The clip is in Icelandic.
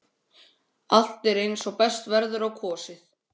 Allt er eins og best verður á kosið.